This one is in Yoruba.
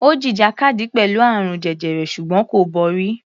Ó jìjàkadì pẹ̀lú àrùn jẹjẹrẹ ṣùgbọ́n kò borí.